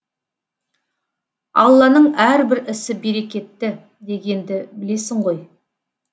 алланың әрбір ісі берекетті дегенді білесің ғой